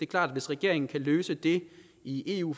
klart at hvis regeringen kan løse det i eu